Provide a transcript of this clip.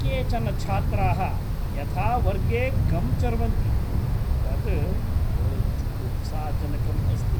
केचन छात्राः यथा वर्गे गम् चर्वन्ति तत् बहु जुगुप्साजनकम् अस्ति।